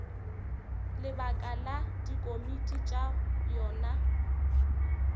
lebaka la dikomiti tša yona